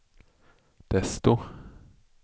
desto